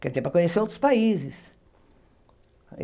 Quer dizer, para conhecer outros países.